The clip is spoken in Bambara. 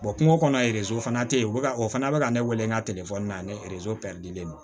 kungo kɔnɔ fana tɛ ye o bɛ ka o fana bɛ ka ne wele n ka na ne pɛridilen don